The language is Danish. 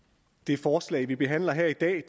det forslag vi behandler her i dag